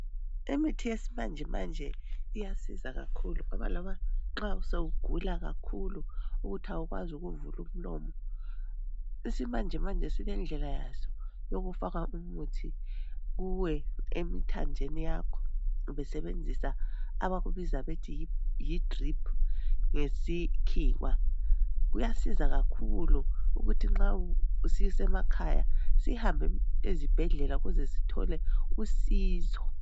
Imithi yesimanje manje iyasiza kakhulu, ngoba loba sewugula kakhulu ukuthi awukwazi ukuvula umlomo. Isimanjemanje silendlela yaso yokufaka umuthi uye emthanjeni yaakho besebenzisa abakubiza bethi yidriphu ngesikhiwa. Uyasiza kakhulu ukuthi nxa ususekhaya sihambe ezibhedlela ukuze sithole usizo.